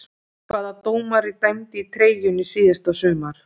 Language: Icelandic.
Hvaða dómari dæmdi í treyjunni síðasta sumar?